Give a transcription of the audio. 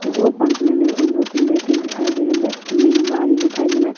दिखाई दे रहा है गाड़ी दिखाई दे रहा है।